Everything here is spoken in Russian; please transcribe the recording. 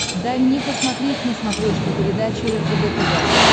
дай мне посмотреть на смотрешке передачу ржд тв